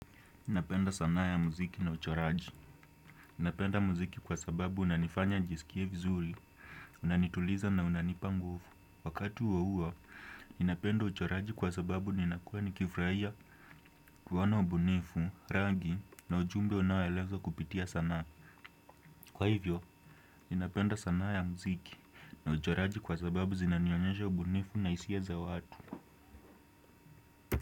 Napenda sanaa ya muziki na uchoraji. Napenda muziki kwa sababu unanifanya njisikie vizuri, unanituliza na unanipa nguvu. Wakati huohuo, ninapenda uchoraji kwa sababu ninakua nikifraia, kuona ubunifu, rangi na ujumbe unaoelezwa kupitia sanaa. Kwa hivyo, ninapenda sanaa ya mziki na uchoraji kwa sababu zinanionyesha ubunifu na hisia za watu.